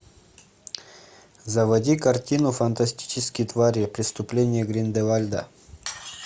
заводи картину фантастические твари преступления грин де вальда